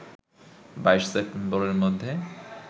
২২ সেপ্টেম্বরের মধ্যে